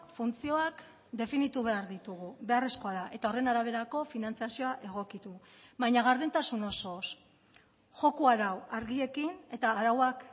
funtzioak definitu behar ditugu beharrezkoa da eta horren araberako finantzazioa egokitu baina gardentasun osoz joko arau argiekin eta arauak